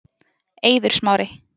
Eiður Smári